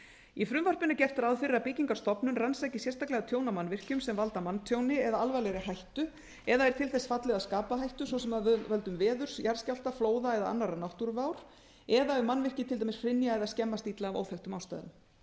í frumvarpinu er gert ráð fyrir að byggingarstofnun rannsaki sérstaklega tjón á mannvirkjum sem valda manntjóni eða alvarlegri hættu eða er til þess fallið að skapa hættu svo sem af völdum veðurs jarðskjálfta flóða eða annarra náttúruvár eða ef mannvirki til dæmis hrynja eða skemmast illa af óþekktum ástæðum